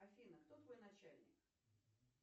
афина кто твой начальник